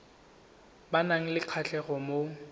ba nang le kgatlhego mo